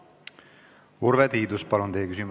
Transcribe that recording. Urve Tiidus, palun teie küsimus!